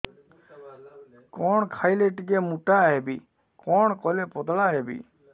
କଣ ଖାଇଲେ ଟିକେ ମୁଟା ହେବି କଣ କଲେ ପତଳା ହେବି